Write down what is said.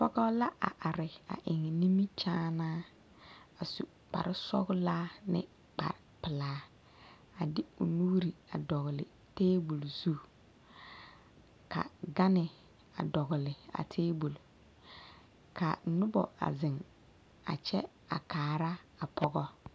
Pɔgɔ la a are a eŋ nimikyaanaaa a su kparresɔglaa ne kparrepelaa a de o nuuri a dogli tebol zu ka gane a dogli a tebol ka nobɔ a zeŋ a kyɛ a kaara a pɔgɔ.